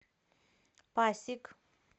пасиг